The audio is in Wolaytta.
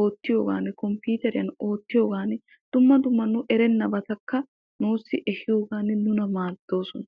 oottiyoogaan komppiiteriyan oottiyoogan dumma dumma nu erennabatakka nuussi ehiyoogan nuna maaddoosona.